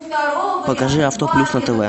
покажи авто плюс на тв